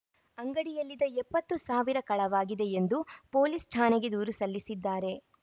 ಅಂಗಡಿಯಲ್ಲಿದ ಎಪ್ಪತ್ತು ಸಾವಿರ ಕಳವಾಗಿದೆ ಎಂದು ಪೊಲೀಸ್‌ ಠಾಣೆಗೆ ದೂರು ಸಲ್ಲಿಸಿದ್ದಾರೆ